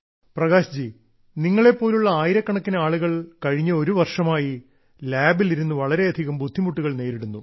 പ്രകാശ് ജി നിങ്ങളെപ്പോലുള്ള ആയിരക്കണക്കിന് ആളുകൾ കഴിഞ്ഞ ഒരുവർഷമായി ലാബിൽ ഇരുന്നു വളരെയധികം ബുദ്ധിമുട്ടുകൾ നേരിടുന്നു